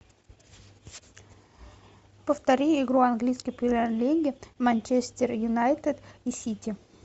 повтори игру английской премьер лиги манчестер юнайтед и сити